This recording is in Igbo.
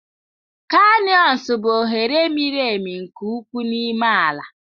Kanịọns bụ oghere miri emi nke ukwuu n'ime ala.